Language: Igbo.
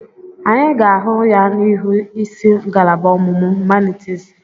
Anyị ga-ahụ ya n'ihu ịsị ngalaba ọmụmụ humanitiisi.